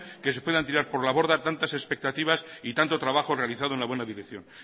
que se puedan tirar por la borda tantas expectativas y tanto trabajo realizado en la buena dirección